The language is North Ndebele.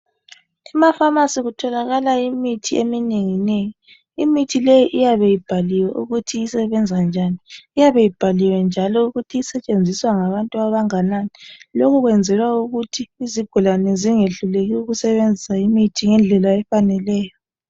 Emapharmacy kutholakala imithi eminenginengi. Imithi leyi iyabe ibhaliwe ukuthi isebenza njani. Iyabe ibhaliwe njalo ukuthi isetshenziswa ngabantu abanganani. Lokhu kwenzelwa ukuthi izigulane zingehluleki ukusebenzisa imithi ngendlela efaneleyo.